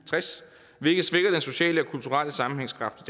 tres hvilket svækker den sociale og kulturelle sammenhængskraft